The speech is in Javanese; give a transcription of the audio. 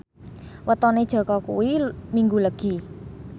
wetone Jaka kuwi Minggu Legi